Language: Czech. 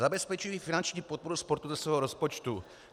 "Zabezpečují finanční podporu sportu ze svého rozpočtu."